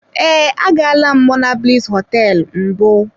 Ee, agaala m monablis hotel mbụ.